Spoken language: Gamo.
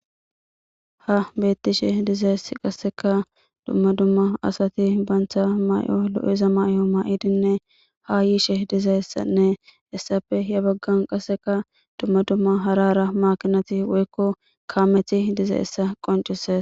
Ha beettishe dizayes qasseka dumma dumma asati bantha may'o lo'iza may'o maa'idinne ha yiishe dizayssanne essafe ya baggan qasseka dumma dumma harara maakinati woykko kaamethi diza essa qoncise.